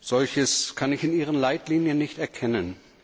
Solches kann ich in Ihren Leitlinien nicht erkennen.